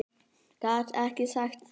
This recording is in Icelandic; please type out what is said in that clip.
Gat ekki sagt það.